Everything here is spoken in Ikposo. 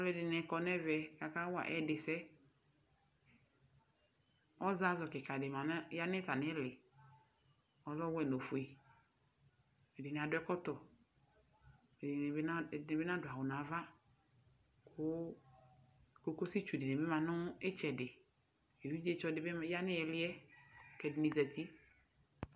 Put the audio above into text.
Aluɛdini kɔ nu ɛvɛ ku akawa ɛdisɛ ɔzazu kika di za nu atamili ku adu ɔwɛ nu ofue ɛdini adu ɛkɔtɔ ɛdini adu awu ɛdini bi nadu awu nava ku kɔkutsu dibi ma nu itsɛdi ɛdini yanu iliɛ